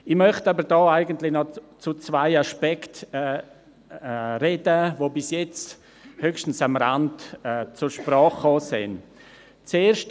Ich möchte noch zu zwei Aspekten sprechen, die bisher höchstens am Rande zur Sprache gekommen sind.